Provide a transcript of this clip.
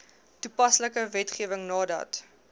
toepaslike wetgewing nadat